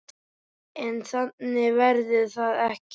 En þannig verður það ekki.